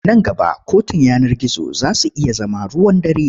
Nan gaba kotun yanar gizo za su iya zama ruwan dare.